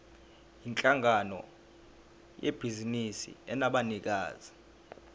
yinhlangano yebhizinisi enabanikazi